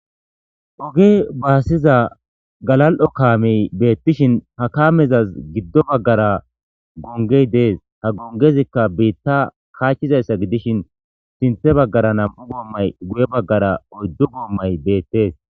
Oge baassiza galal7o kaamey beettishin ha kaamezaz giddo baggara gongey dees ha gongezikka beitta kaachchizayssa gidishin sinthe baggara nam7u goommay guye baggara oyddu goommay beettees